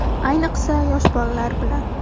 Ayniqsa, yosh bolalar bilan.